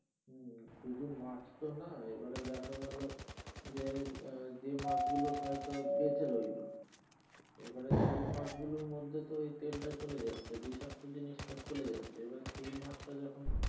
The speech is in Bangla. শুধু মাছ তো না এবারে দেখা গেলো যে আহ যে মাছ গুলো হয়তো বেচে রইলো এবারে সেই মাছ গুলোর মধ্যে তো ঐ তেল চলে যায় বিষাক্ত জিনিস টা চলে যাচ্ছে এবার সেই মাছ টা যখন